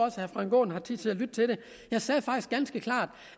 at herre frank aaen har tid til at lytte til det jeg sagde faktisk ganske klart